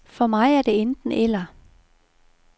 For mig er det enten eller.